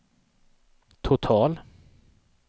total